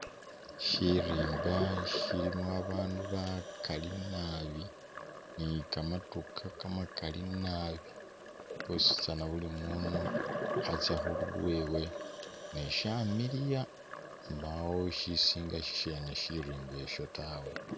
Shirimba shilimo abaandu bakali nabi ni kamadukha kamakali nabi bositsana buli munu atsa khulwewe ne shamiliya mbawo shisinga shirimba ishi tawe.